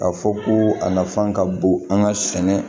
K'a fɔ ko a nafan ka bon an ka sɛnɛ